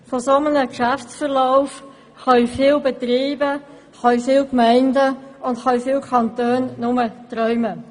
Von einem solchen Geschäftsverlauf können viele Betriebe, Gemeinden und Kantone nur träumen.